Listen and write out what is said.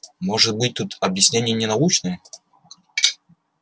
может быть тут объяснение не научное